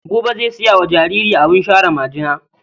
Buba zai saya wa jaririya abin share majina.